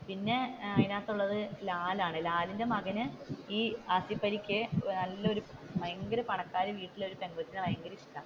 പിന്നെ അതിന്റെ അകത്തുള്ളത് ലാലാണ് ലാലിന്റെ മകൻ ഈ ആസിഫലി നല്ലൊരു ഭയങ്കര പണക്കാരി വീട്ടിലെ ഒരു പെങ്കോച്ചുമായിട്ട്,